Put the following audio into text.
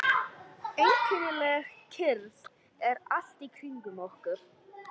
Einkennileg kyrrð er allt í kringum okkur.